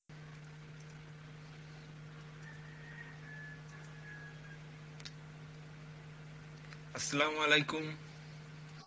আসসালামু আলাইকুম